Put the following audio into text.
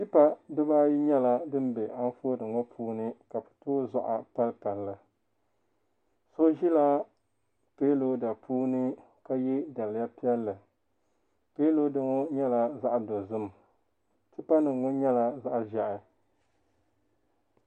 Tipa dibaayi nyɛla din bɛ anfooni ŋo puuni so ʒila piiroda puuni ka yɛ daliya piɛlli piiroda ŋo nyɛla zaɣ dozim tipa nim ŋo nyɛla zaɣ ʒiɛhi